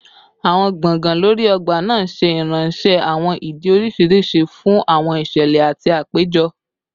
Awọn gbọngàn lori ogba naa ṣe iranṣẹ awọn idi oriṣiriṣi fun awọn iṣẹlẹ ati apejọ